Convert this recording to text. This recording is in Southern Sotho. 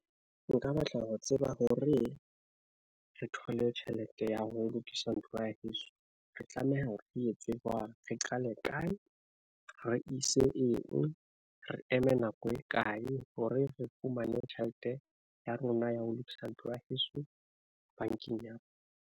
Nka batla ho tseba hore re thole tjhelete ya ho lokisa ntlo ya heso, re tlameha re etse jwang, re qale kae, re ise eng, re eme nako e kae hore re fumane tjhelete ya rona ya ho lokisa ntlo ya heso bankeng ya.